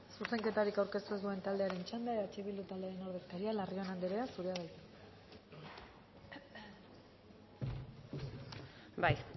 zuzenketarik aurkeztu ez duen taldearen txanda eh bildu taldearen ordezkaria larrion anderea zurea da hitza bai